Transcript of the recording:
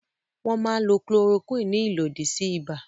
Wọ́n máa ń lo Chloroquine ní ìlòdì sí ibà.